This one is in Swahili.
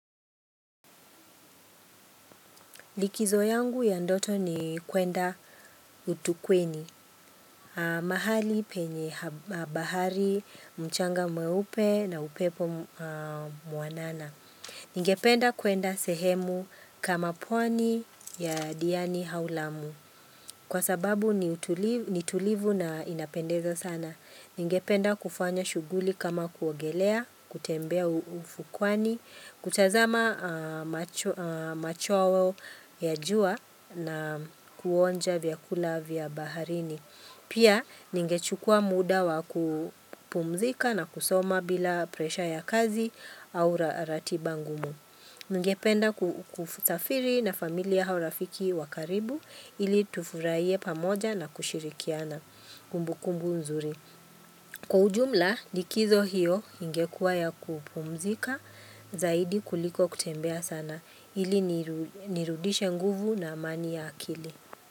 Likzo yangu ya ndoto ni kwenda utukweni, mahali penye bahari, mchanga mweupe na upepo mwanana. Ningependa kwenda sehemu kama pwani ya diani au lamu kwa sababu ni tulivu na inapendeza sana. Ningependa kufanya shughuli kama kuogelea, kutembea ufukwani, kutazama macho ya jua. Na kuonja vyakula vya baharini. Pia ninge chukua muda wa kupumzika na kusoma bila presha ya kazi au ratiba ngumu. Ningependa kusafiri na familia au rafiki wakaribu ili tufurahie pamoja na kushirikiana kumbu kumbu nzuri. Kwa ujumla, likizo hiyo ingekuwa ya kupumzika zaidi kuliko kutembea sana. Ili nirudishe nguvu na amani ya akili.